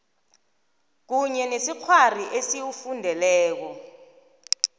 kunye nesikghwari esiwufundeleko